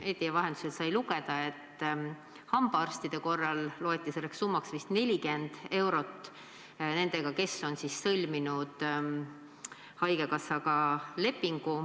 Meedia vahendusel sai lugeda, et hambaarstide korral loeti selleks summaks vist 40 eurot, nendel, kes on sõlminud haigekassaga lepingu.